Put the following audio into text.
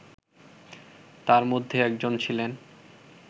তার মধ্যে একজন ছিলেন